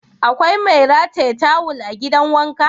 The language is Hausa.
Akwai mai rataye tawul a gidan wanka?